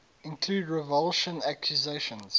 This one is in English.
include revulsion accusations